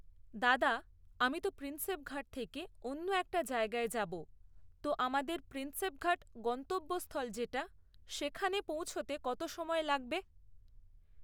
দাদা আমি তো প্রিন্সেপঘাট থেকে অন্য একটা জায়গায় যাব তো আমাদের প্রিন্সেপঘাট গন্তব্যস্থল যেটা সেইখানে পৌঁছোতে কত সময় লাগবে